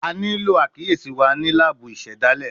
A nilo akiyesi wa ni laabu isedale